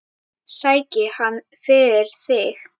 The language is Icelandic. Sæki hann fyrir þig.